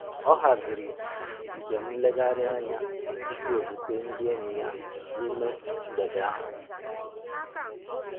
Ọ haziri nje m nleghari anya tupu o zute ndị enyi ya n'ime um mgbede um ahụ